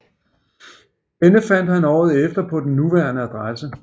Denne fandt han året efter på den nuværende adresse